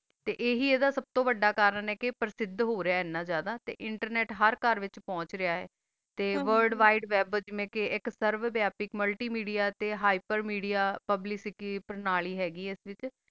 ਤਾ ਆ ਹੀ ਅੰਦਾ ਸੁਬ ਤੋ ਵਾਦਾ ਕਰਨ ਆ ਤਾ ਪਰ੍ਸ਼ਤ ਹੋ ਰਹਾ ਆ ਸੁਬ ਤੋ ਜ਼ਾਯਦਾ ਤਾ internet ਹਰ ਕਰ ਦਾ ਵਿਤਚ ਪੋੰਛ ਗਯਾ ਆ ਤਾ word wide web ਸਰਵੇ ਏਕ multimedia heapermedia publicity ਕੀਤੀ ਹ ਗੀ ਆ ਤਾ ਪ੍ਰਣਾਲੀ